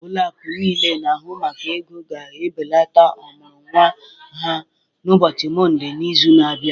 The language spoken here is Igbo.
Ụlọ akụ niile na-ahụ maka ego ga-ebelata ọmụrụ nwa ha n'ụbọchị Mọnde n'izu na-abịa